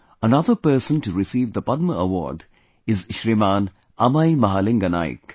Another person to receive the Padma award is Shriman Amai Mahalinga Naik